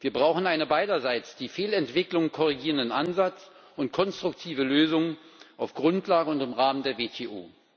Wir brauchen einen beiderseits die Fehlentwicklungen korrigierenden Ansatz und konstruktive Lösungen auf Grundlage und im Rahmen der WTO.